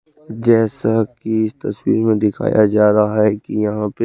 जेसा की इस तस्वीर में दिखाया जारा है की यहाँ पे --